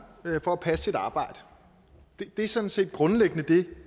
for at passe sit arbejde det er sådan set grundlæggende det